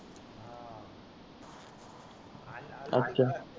अच्छा